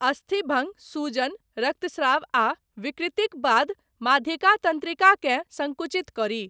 अस्थि भङ्ग, सूजन, रक्तस्राव आ विकृतिक बाद, माध्यिका तन्त्रिकाकेँ सङ्कुचित करी।